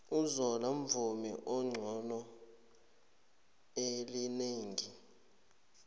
uzola mvumi onexhono elinengi